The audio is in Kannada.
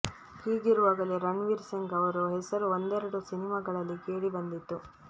ಹೀಗಿರುವಾಗಲೇ ರಣ್ ವೀರ್ ಸಿಂಗ್ ಅವರು ಹೆಸರು ಒಂದೆರಡು ಸಿನಿಮಾಗಳಲ್ಲಿ ಕೇಳಿ ಬಂದಿತ್ತು